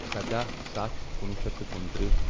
سداہ ستھ کُنوُہ شیٚتھ تہٕ کُنترٛہہ